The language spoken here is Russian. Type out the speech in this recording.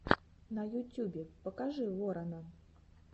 на ютюбе покажи ворона